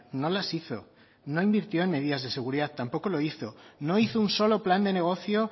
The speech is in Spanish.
no las hizo no invirtió en medidas de seguridad tampoco lo hizo no hizo un solo plan de negoció